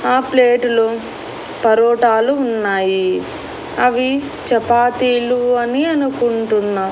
ఆ ప్లేటులో పరోటాలు ఉన్నాయి అవి చపాతీలు అని అనుకుంటున్నా.